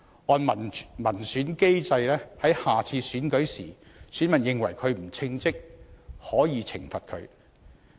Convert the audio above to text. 按照民選機制，如果選民認為他不稱職，下次選舉時可以懲罰他。